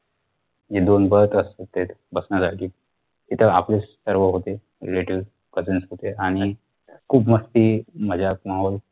जे दोन berth असता ते बसण्यासाठी तिथं आपले सर्व होते relative cousins होते आणी खूप मस्ती मजाक माहोल